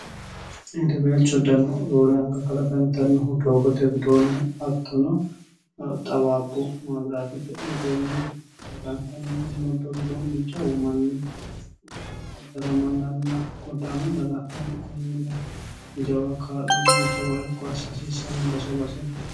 hedeweelcho dano roore anga kalaqantannohu doogote widoonni hattono xawaabbu maabiraatete widoonni kalaqantanno mommoddo widoonni jawu manni baddalamannanna godda"ama lala'nani konnira jawa kaa'lonna jawa irko assa hasiissanno base baseente